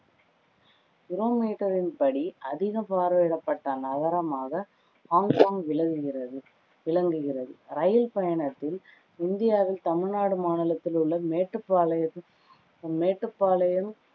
படி அதிக பார்வையிடப்பட்ட நகரமாக ஹாங்காங் விளங்குகிறது விளங்குகிறது ரயில் பயணத்தில் இந்தியாவில் தமிழ்நாடு மாநிலத்தில் உள்ள மேட்டுப்பாளையத்தில் மேட்டுப்பாளையம்